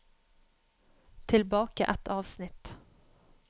Tilbake ett avsnitt